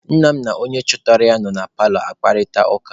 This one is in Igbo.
Nna m na onye chọtara ya nọ na paalọ akparịta ụka.